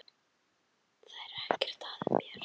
Það er ekkert að mér!